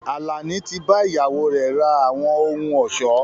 Àlàní tí bá ìyàwó rẹ ra àwọn ohùn ọ̀ṣọ́